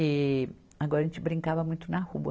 E agora a gente brincava muito na rua.